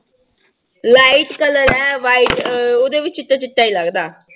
Light color ਹੈ white ਅਹ ਉਹਦੇ ਵੀ ਚਿੱਟਾ ਚਿੱਟਾ ਹੀ ਲੱਗਦਾ।